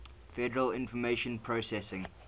federal information processing